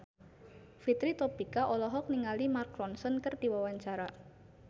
Fitri Tropika olohok ningali Mark Ronson keur diwawancara